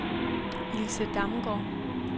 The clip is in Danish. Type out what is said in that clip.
Ilse Damgaard